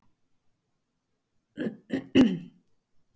Andri Ólafsson: Hvernig, hvernig tilfinning var það eiginlega?